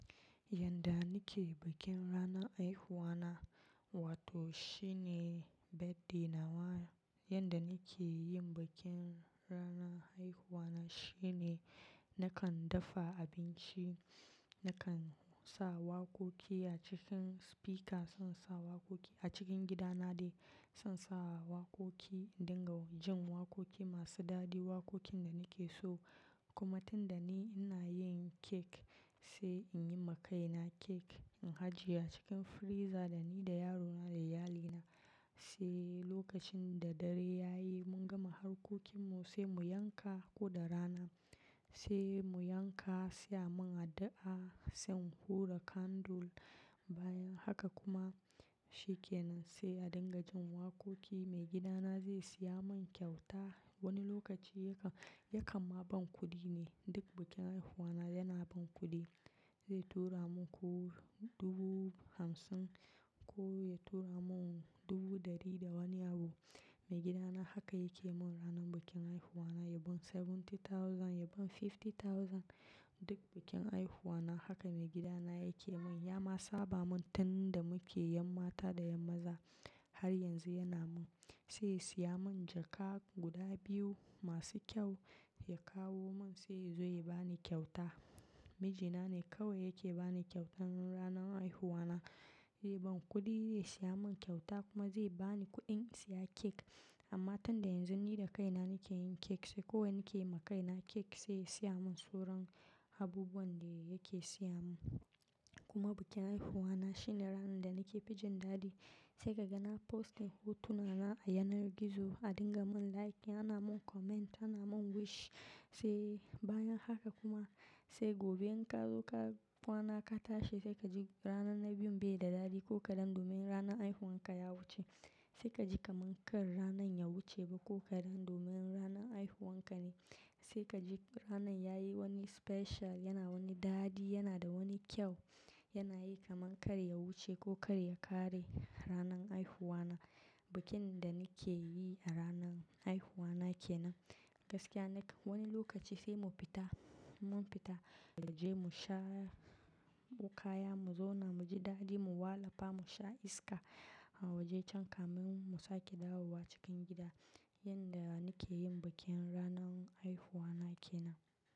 Yanda nake bikin ranar haihuwa na wato shine birthday na wa, yanda nake yin bikin ranan haihuwa na shine nakan dafa abinci, nakan sa waƙoƙi a cikin spika, zan sa waƙoƙi a cikin gidana dai. Zan sa waƙoƙi, in dinga jin waƙoƙi masu dadi, waƙoƙin da nake so. Kuma tun da ni ina yin cake, sai in yi ma kaina cake. In hajiye a cikin freezer, da ni da yarona da iyalina sai lokacin da dare ya yi mun gama harkokin mu sai mu yanka ko da rana sai mu yanka, sai a mun addu'a, sai in hura candle. Bayan haka kuma shi ke nan sai a dinga jin waƙoƙi. Maigidana zai siya mun kyauta. Wani lokaci yakan, yakan ma ban kuɗi ne. Duk bikin haihuwa na yana ban kuɗi. Zai tura mun ko dubu hamsin ko ya tura mun dubu ɗari da wani abu. Maigidana haka yake mun ranan bikin haihuwa na. Ya ban seventy thousand, ya ban fifty thousand. Duk bikin haihuwa na haka maigidana yake mun. Ya ma saba mun tun da muke 'yan mata da 'yan maza. Har yanzu yana mun. Sai ya siya mun jaka guda biyu masu kyau, ya kawo mun sai ya zo ya bani kyauta. Mijina ne kawai yake bani kyautan ranan haihuwa na. Ze ban kuɗi zai siya mun kyauta kuma zai bani kuɗin in siya cake. Amma tunda yanzu ni da kaina nake yin cake sai kawai nake yi ma kaina cake sai ya siya mun suran abubuwan da yake siya mun. Kuma bikin haihuwa na shine ranan da nake fi jin dadi sai kaga na postin hotuna na a yanar gizo a dinga mun likin, ana mun comment, ana mun wish. Sai bayan haka kuma sai gobe in ka zo ka kwana ka tashi sai ka ji ranan na biyun bai da dadi ko kaɗan domin ranan haihuwan ka ya wuce. Sai ka ji kaman kar ranan ya wuce ba ko kaɗan domin ranar haihuwan ka ne. Sai ka ji ranan yayi wani special, yana wani dadi, yana da wani kyau. Yana yi kaman kar ya wuce ko kar ya ƙare ranan haihuwa na. Bikin da nake yi a ranar haihuwa na ke nan. Gaskiya nake, wani lokaci sai mu fita, mun fita da je mu sha bukaya, mu zauna, mu ji dadi, mu walafa, mu sha iska a waje can kamin mu sake dawowa cikin gida. Yanda nake yin bikin ranar haihuwa na ke nan.